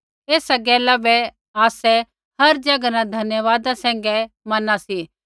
एसा गैला बै आसै हर ज़ैगा न धन्यवादा सैंघै मैना सी